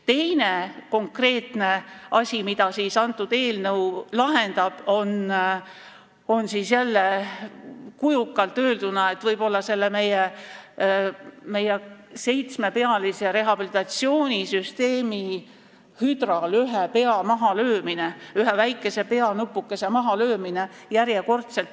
Teine konkreetne asi, mida eelnõu lahendab, on jälle, kujundlikult öelduna, võib-olla selle meie seitsmepealise rehabilitatsioonisüsteemi hüdral ühe pea mahalöömine, järjekordselt ühe väikese peanupukese mahalöömine.